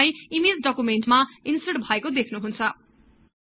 तपाई ईमेज डकुमेन्टमा ईन्सर्ट भएको देख्नुहुन्छ